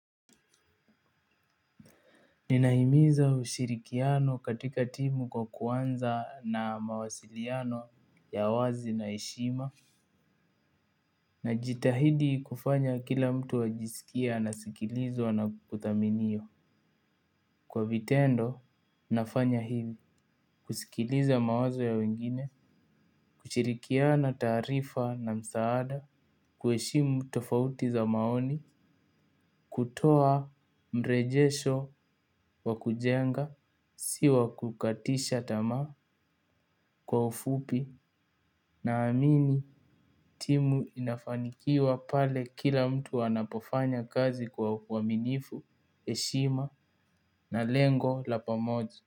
Ninahimiza ushirikiano katika timu kwa kuanza na mawasiliano ya wazi na heshima. Na jitahidi kufanya kila mtu ajisikie anasikilizwa na kuthaminiwa. Kwa vitendo nafanya hili. Kusikiliza mawazo ya wengine kushirikiana taarifa na msaada kuheshimu tofauti za maoni kutoa mrejesho wa kujenga si wa kukatisha tamaa. Kwa ufupi naamini timu inafanikiwa pale kila mtu anapofanya kazi kwa uaminifu, heshima na lengo la pamoja.